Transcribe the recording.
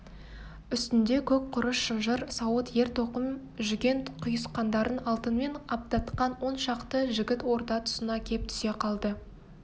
үстінде көк құрыш шынжыр сауыт ер-тоқым жүген-құйысқандарын алтынмен аптатқан он шақты жігіт орда тұсына кеп түсе қалды